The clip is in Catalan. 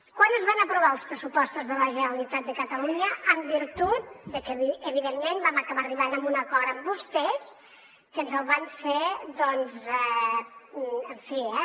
quan es van aprovar els pressupostos de la generalitat de catalunya en virtut de que evidentment vam acabar arribant a un acord amb vostès que ens el van fer en fi eh